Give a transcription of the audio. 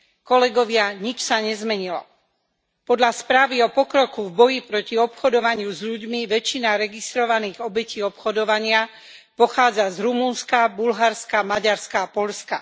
Kolegovia, nič sa nezmenilo. Podľa správy o pokroku v boji proti obchodovaniu s ľuďmi väčšina registrovaných obetí obchodovania pochádza z Rumunska, Bulharska, Maďarska a Poľska.